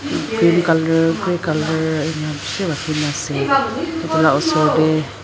green colour grey colour enika bishi rakhina ase edu la osor tae.